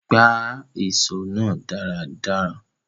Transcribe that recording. Gbá ìso náà dáradára